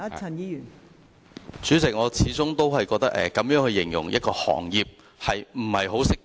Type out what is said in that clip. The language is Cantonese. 代理主席，我始終覺得這樣形容一個行業並不恰當。